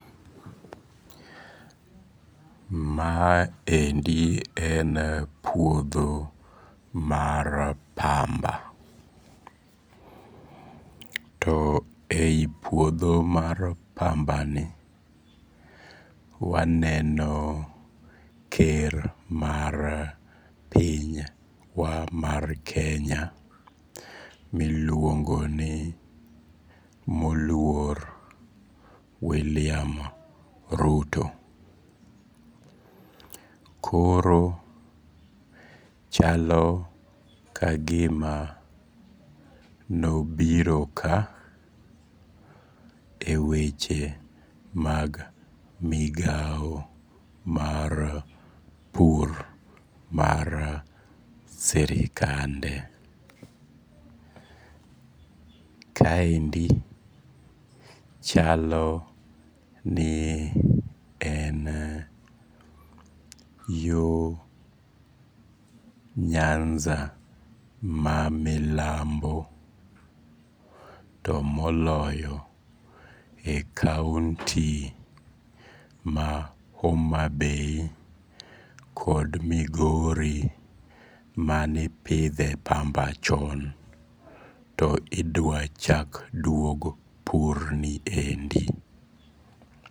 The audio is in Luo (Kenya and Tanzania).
Maendi en puodho mar pamba. To e yi puodho mar pamba ni waneno ker mar piny wa mar Kenya miluongo ni moluor William Ruto. Koro chalo ka gima nobiro ka e weche mag migaw mar pur mar sirikande. Kaendi chalo ni en yo Nyanza ma milambo to moloyo e kauti ma Homa Bay kod Migori manepidhe pamba chon to idwa chak duog pur ni endi.